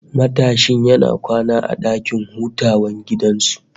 Matashin yana kwana a dakin hutawan gidan su